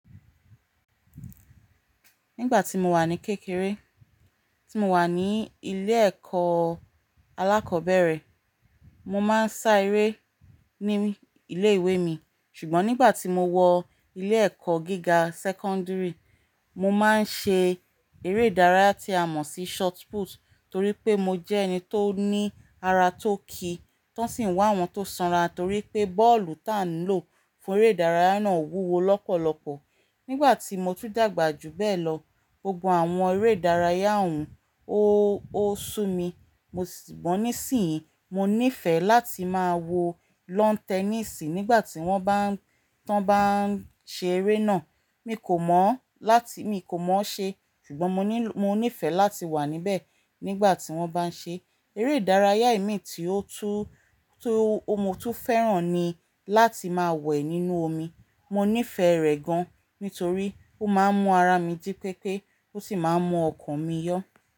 Nígbà tí mo wà ní kékeré, tí mo wà ní ilé ẹ̀kọ́ alákọ̀ọ́bẹ̀rẹ̀, mo máa ń sá eré ní ilé ìwé mi. Ṣùgbọ́n nígbà tí mo wọ ilé ẹ̀kọ́ gíga sẹ́kọ́ńdírì, mo máa ń ṣe eré ìdárayá tí a mọ̀ sí shotput, torí pé mo jẹ́ ẹni tó ní ara tó kí, tán sìń wá àwọn tó sanra torí pé bọ́ọ̀lù táà ń lò fún eré ìdárayá náà wúwo lọ́pọ̀lọpọ̀. Nígbà tí mo tún dàgbà jù bẹ́ẹ̀ lọ, gbogbo àwọn eré ìdárayá òún ó, ó sú mi. Mo si, sugbọ́n níìsín, mo nífẹ̀ẹ́ láti máa wo lawn tennis nígbà tí wọ́n bá ń, tán bá ń ṣe eré náà. Mi kò mọ̀, láti, mi kò mọ̀ ọ́ ṣe, ṣùgbọ́n mo nílò, mo nífẹ̀ẹ́ láti wà níbẹ̀ nígbà tí wọ́n bá ń ṣe. Eré ìdárayá imi tí ó tú tó mo tún fẹ́ràn ni láti máa wẹ̀ nínú omi. Mo nífẹ̀ẹ́ rẹ̀ gan, nítorí ó máa ń mú ara mi ji pépé, ó sì máa ń mú ọkàn mi yọ̀.